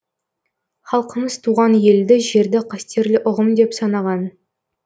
халқымыз туған елді жерді қастерлі ұғым деп санаған